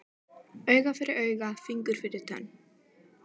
Auga fyrir auga, fingur fyrir tönn.